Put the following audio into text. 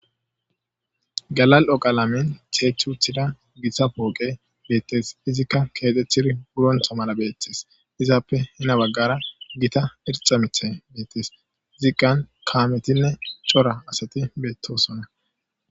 galal'oqalamin ceechuthida gita pooqe beettes izikka keetethiri hurontha mala beettes izappe hina baggara gita ircamithe beettes ziqqan kaametinne cora asati beettosonna.